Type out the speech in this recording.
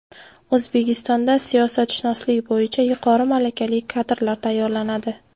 O‘zbekistonda siyosatshunoslik bo‘yicha yuqori malakali kadrlar tayyorlanadi.